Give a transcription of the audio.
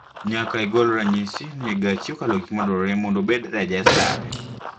Nyaka I gol ranyisi ni gachi okalo gik madwarore mondo obed rejestad